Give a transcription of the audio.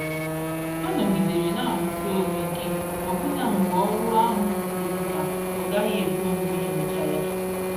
Ha nọgidere n'arụsi ọrụ ike ọbụna mgbe ọrụ ahụ yiri ka ọ gaghị ekwe omume ịrụcha ya.